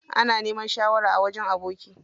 Ana neman shawara a wajen aboki.